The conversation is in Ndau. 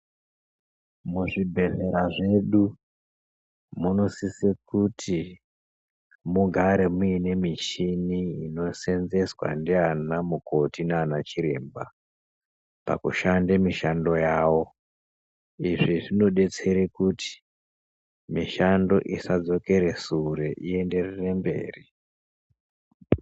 Muzvibhedhlera zvedu munosise kuti mugare muine michini inoseenzweswa ndiana mukoti nanachiremba pakushanda mishando yavo. Izvi zvinodetsera kuti mishando isapetuke sure ienderere mberi.